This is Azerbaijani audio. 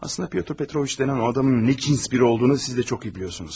Əslində Pyotr Petroviç deyilən o adamın nə cins biri olduğunu siz də çox iyi bilirsiniz.